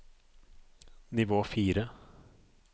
nivå fire